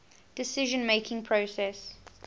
decision making process